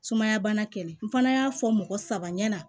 Sumaya bana kɛlɛ n fana y'a fɔ mɔgɔ saba ɲana